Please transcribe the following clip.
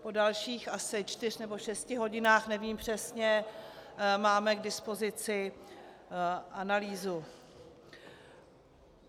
Po dalších asi čtyřech nebo šesti hodinách, nevím přesně, máme k dispozici analýzu.